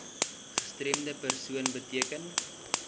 gestremde persoon beteken